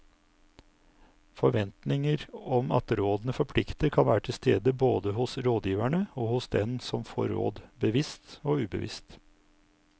Forventninger om at rådene forplikter kan være til stede både hos rådgiverne og hos den som får råd, bevisst og ubevisst.